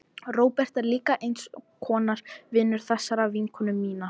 Róbert er líka eins konar vinur þessarar vinkonu minnar.